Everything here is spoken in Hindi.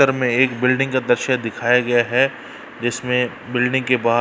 तर में एक बिल्डिंग का दृश्य दिखाया गया है जिसमे बिल्डिंग के बाहर --